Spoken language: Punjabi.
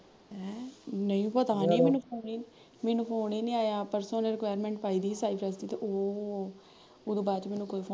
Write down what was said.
ਹੈਂ ਨਹੀਂ ਪਤਾ ਨੀ ਮੈਨੂੰ phone ਈ ਨੀ ਮੈਨੂੰ phone ਈ ਨੀ ਆਇਆ ਪਰਸੋਂ ਜਹੇ ਉਹਨੇ requirement ਪਾਈ ਦੀ ਸੀ ਉਹਤੇ ਬਾਦ ਚ ਮੈਂਨੂੰ ਕੋਈ ਫੋ